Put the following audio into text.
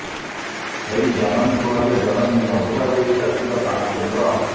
ସେଇ ଜନନୀ କୋଳରେ ଜନମି ମଧୁବାବୁ ଏ ଜାତିର ପ୍ରାଣ କେନ୍ଦ୍ର